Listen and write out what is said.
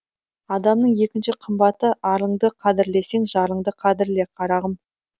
адамның екінші қымбаты арыңды қадірлесең жарыңды қадірле қарағым